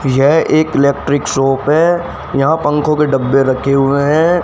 यह एक electric shop है यहां पंखों के डब्बे रखे हुए हैं।